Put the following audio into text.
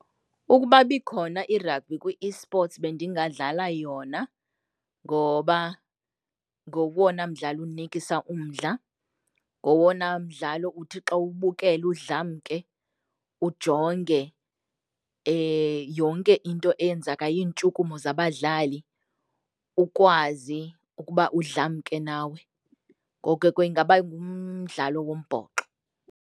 Ukuba ibikhona i-rugby kwi eSports bendingadlala yona ngoba ngowona mdlalo unikisa umdla, ngowona mdlalo uthi xa uwubukele udlamke ujonge yonke into eyenzekayo, iintshukumo zabadlali, ukwazi ukuba udlamke nawe. Ngoko ke ingaba ngumdlalo wombhoxo.